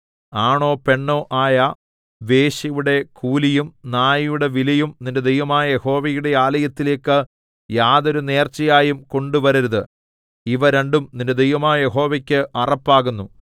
ആണോ പെണ്ണോ ആയ വേശ്യയുടെ കൂലിയും നായുടെ വിലയും നിന്റെ ദൈവമായ യഹോവയുടെ ആലയത്തിലേക്ക് യാതൊരു നേർച്ചയായും കൊണ്ടുവരരുത് ഇവ രണ്ടും നിന്റെ ദൈവമായ യഹോവയ്ക്ക് അറപ്പാകുന്നു